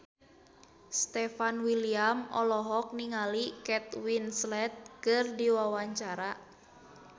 Stefan William olohok ningali Kate Winslet keur diwawancara